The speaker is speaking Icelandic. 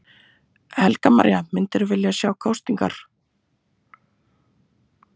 Helga María: Myndirðu vilja sjá kosningar?